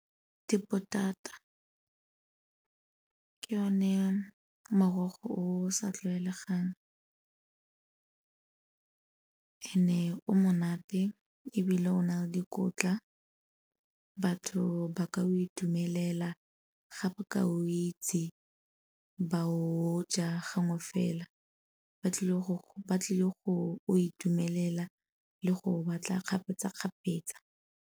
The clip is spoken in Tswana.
Dipotata, ke yone morogo o sa tlwaelegang and-e o monate ebile o na le dikotla batho ba ka o itumelela ga ba ka o itse, ba o ja gangwe fela. Ba tlile go o itumelela le go batla kgapetsa-kgapetsa.